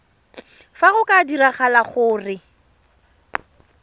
fa go ka diragala gore